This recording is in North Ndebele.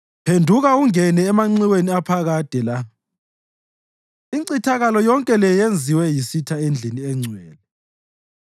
Phenduka ungene emanxiweni aphakade la, incithakalo yonke le yenziwe yisitha endlini engcwele.